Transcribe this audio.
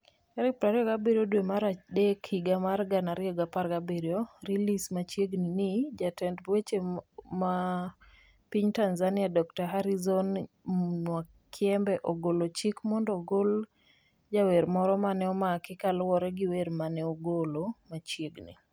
27 dwe mar adek higa mar 2017. release Machiegni ni, Jatend weche weche weche e piny Tanzania, Dr. Harrison Mwakyembe, ogolo chik mondo ogol jawer moro mane omaki kaluwore gi wer mare mane ogolo machiegni.